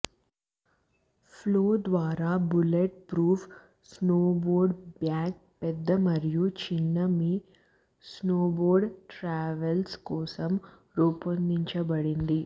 flow ద్వారా bullet proof snowboard bag పెద్ద మరియు చిన్న మీ స్నోబోర్డ్ ట్రావెల్స్ కోసం రూపొందించబడింది